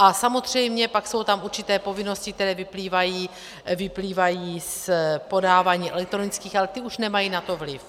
A samozřejmě pak jsou tam určité povinnosti, které vyplývají z podávání elektronických, ale ty už nemají na to vliv.